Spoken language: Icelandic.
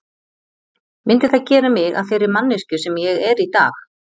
Myndi það gera mig að þeirri manneskju sem ég er í dag?